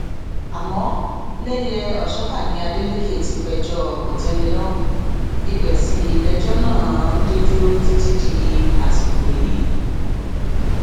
àmọ lẹyẹòṣọká ni adeleke ti péjọ kòtẹmílọrùn ibẹ sì lejò náà dé dúró títí dasìkò yìí